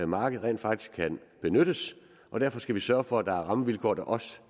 marked rent faktisk kan benyttes og derfor skal vi sørge for at der er rammevilkår der også